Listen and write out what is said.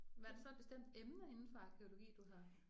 Var det så et bestemt emne indenfor arkæologi du har